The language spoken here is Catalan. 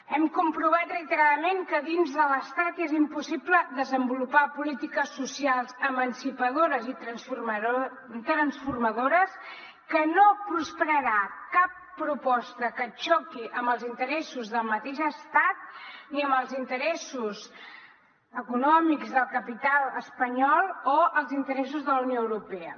hem comprovat reiteradament que dins de l’estat és impossible desenvolupar polítiques socials emancipadores i transformadores que no prosperarà cap proposta que xoqui amb els interessos del mateix estat ni amb els interessos econòmics del capital espanyol o els interessos de la unió europea